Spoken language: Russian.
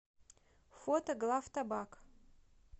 фото главтабак